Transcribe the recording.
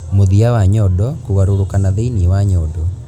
Mũthia wa nyondo kũgarũrũka na thĩĩni wa nyondo.